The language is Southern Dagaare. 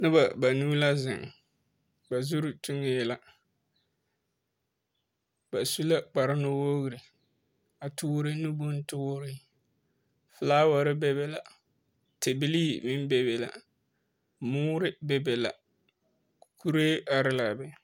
Noba banuu la zeŋ, ba zuri tuŋee la. Ba su la kparnuwoori, a toore nu bontoore. Folaware be be la, tebilii meŋ be be la. Moore be be la, kuree ar l'a be.